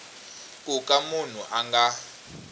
ku ka munhu a nga